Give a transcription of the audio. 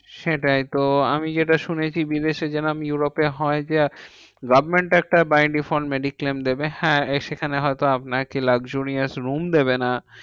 সেটাই তো আমি যেটা শুনেছি বিদেশে জেরোম ইউরোপে তে হয় যে, government একটা by default mediclaim দেবে। হ্যাঁ সেখানে হয়তো আপনাকে luxurious room দেবে না।